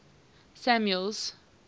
samuel's